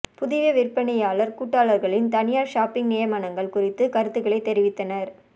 புதிய விற்பனையாளர் கூட்டாளர்களின் தனியார் ஷாப்பிங் நியமனங்கள் குறித்து கருத்துக்களை தெரிவித்தனர்